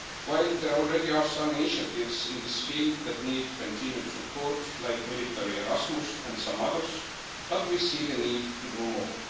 While there are already some initiatives in this field that need continued support, like the Military Erasmus programme and some others, we see the need to do more.